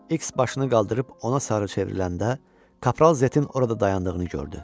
İks başını qaldırıb ona sarı çevriləndə kapral Zetin orada dayandığını gördü.